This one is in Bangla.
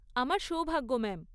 আমার সৌভাগ্য ম্যাম।